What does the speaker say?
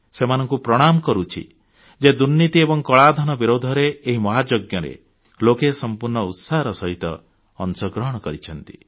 ସେମାନଙ୍କୁ ପ୍ରଣାମ କରୁଛି ଯେ ଦୁର୍ନୀତି ଏବଂ କଳାଧନ ବିରୁଦ୍ଧରେ ଏହି ମହାଯଜ୍ଞରେ ଲୋକେ ସମ୍ପୂର୍ଣ୍ଣ ଉତ୍ସାହର ସହିତ ଅଂଶଗ୍ରହଣ କରିଛନ୍ତି